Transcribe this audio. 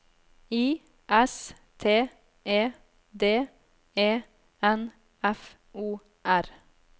I S T E D E N F O R